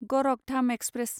Gorakhdham express